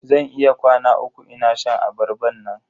Zan yi kwana uku ina shan abarban nan.